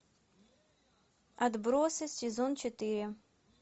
отбросы сезон четыре